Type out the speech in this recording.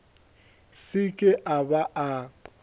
se ke a ba a